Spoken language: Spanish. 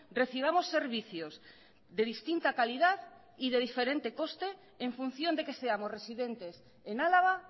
recibamos servicios de distinta calidad y de diferente coste en función de que seamos residentes en álava